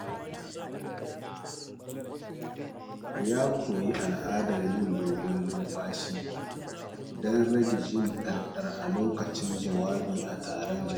Ya koyi al'adar yin dogon numfashi don rage jin ɗarɗar a lokacin jawabi a taron jama’a.